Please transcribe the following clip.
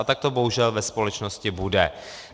A tak to bohužel ve společnosti bude.